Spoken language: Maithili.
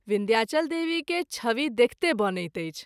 विन्ध्याचल देवी के छवि देखिते बनैत अछि।